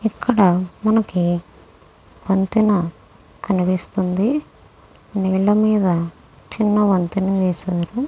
ఇక్కడ మనకి వంతెన కనిపిస్తుంది. నీళ్ళ మీద చిన్న వంతెన వేసారు.